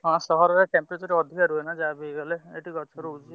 ହଁ ସହରରେ temperature ଯାହାବି ହେଲେ ଏଠି ଗଛ ରହୁଛି।